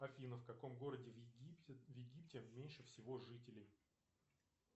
афина в каком городе в египте меньше всего жителей